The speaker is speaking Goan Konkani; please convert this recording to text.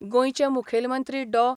गोंयचे मुखेलमंत्री डॉ.